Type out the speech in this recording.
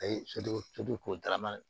A ye soden soden ko darama